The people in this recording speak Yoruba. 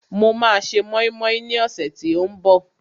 Mo máa se mọ́ínmọ́ín ní ọ̀sẹ̀ tí ó ń bọ̀